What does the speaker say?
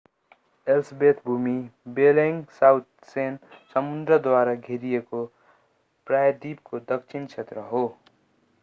Ellsworth भूमि Bellingshausen समुद्रद्वारा घेरिएको प्रायद्वीपको दक्षिणी क्षेत्र हो